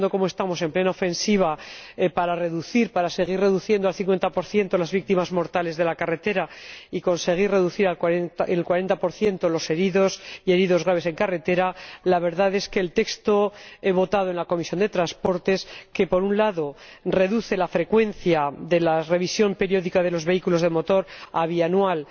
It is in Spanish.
Y estando, como estamos, en plena ofensiva para seguir reduciendo al cincuenta por ciento las víctimas mortales de la carretera y conseguir reducir en un cuarenta por ciento los heridos y heridos graves en carretera, la verdad es que el texto votado en la Comisión de Transportes reduce, por un lado, la frecuencia de la revisión periódica de los vehículos de motor a bianual